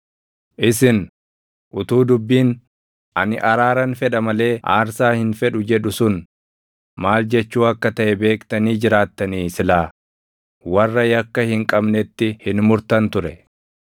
Isin, utuu dubbiin, ‘Ani araaran fedha malee aarsaa hin fedhu’ + 12:7 \+xt Hos 6:6\+xt* jedhu sun maal jechuu akka taʼe beektanii jiraattanii silaa warra yakka hin qabnetti hin murtan ture.